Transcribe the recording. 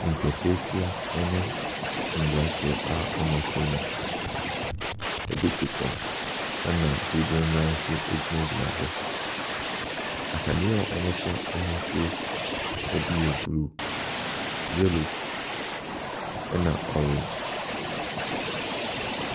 Nketesia ne mmranteɛ a wɔahyia mu. Ebi te fam, na dodoɔ no ara nso gyinagyina hɔ. Ataadeɛ a wɔhyɛ ahosu no bi yɛ blue, yelllow na orange.